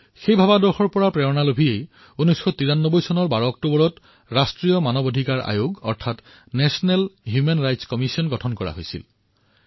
তেওঁৰ দৃষ্টিকোণৰ দ্বাৰাই উৎসাহিত হৈ ১২ অক্টোবৰ ১৯৯৩ চনত ৰাষ্ট্ৰীয় মানৱ অধিকাৰ আয়োগ অৰ্থাৎ national human rights commission NHRC ৰ গঠন কৰা হৈছিল